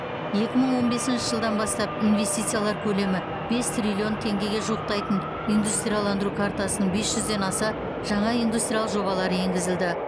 екі мың он бесінші жылдан бастап инвестициялар көлемі бес триллион теңгеге жуықтайтын индустрияландыру картасының бес жүзден аса жаңа индустриялық жобалары енгізілді